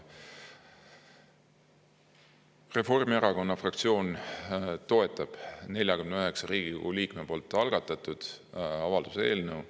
Reformierakonna fraktsioon toetab 49 Riigikogu liikme algatatud avalduse eelnõu.